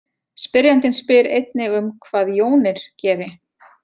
Spyrjandinn spyr einnig um hvað jónir geri.